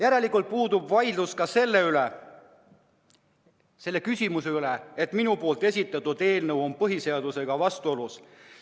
Järelikult puudub vaidlus ka selle üle, kas minu esitatud eelnõu on põhiseadusega vastuolus.